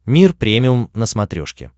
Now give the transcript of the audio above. мир премиум на смотрешке